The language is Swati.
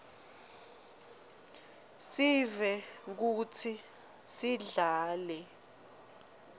sive kutsi sidlale